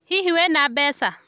Hihi, wĩ na mbeca?